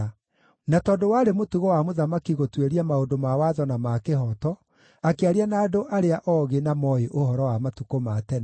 Na tondũ warĩ mũtugo wa mũthamaki gũtuĩria maũndũ ma watho na ma kĩhooto, akĩaria na andũ arĩa oogĩ na mooĩ ũhoro wa matukũ ma tene.